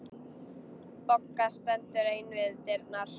Bogga stendur ein við dyrnar.